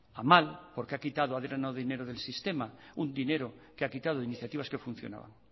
a mal porque ha quitado ha drenado dinero del sistema un dinero que ha quitado de iniciativas que funcionaban